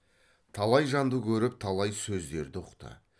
талай жанды көріп талай сөздерді ұқты